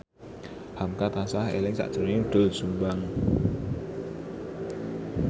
hamka tansah eling sakjroning Doel Sumbang